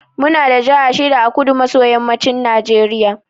Muna da jaha shida a kudu maso yammacin najeriya.